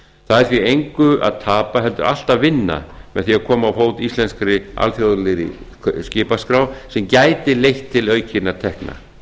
það er því engu að tapa heldur allt að vinna með því að koma á fót íslenskri alþjóðlegri skipaskrá sem gæti leitt til aukinna tekna